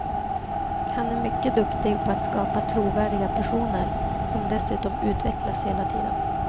Han är mycket duktig på att skapa trovärdiga personer, som dessutom utvecklas hela tiden.